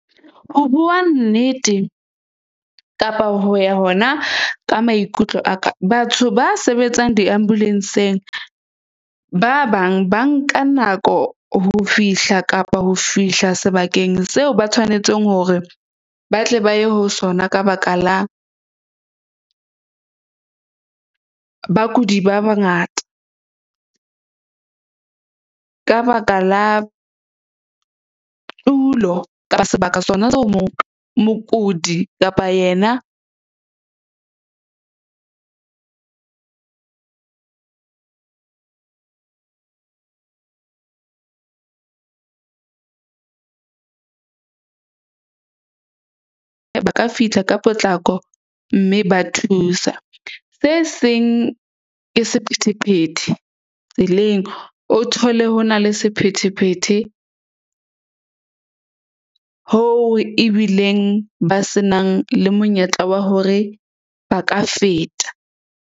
Ho bua nnete, kapa ho ya hona ka maikutlo a ka batho ba sebetsang di-ambulance-ng. Ba bang ba nka nako ho fihla kapa ho fihla sebakeng seo, ba tshwanetseng hore ba tle ba ye ho sona ka baka la bakudi ba bangata ka baka la tulo, kapa , mokudi kapa yena , ba ka fihla ka potlako. Mme ba thusa se seng ke sephethephethe tseleng. O thole ho na le sephethephethe hoo ebileng ba se nang le monyetla wa hore ba ka feta.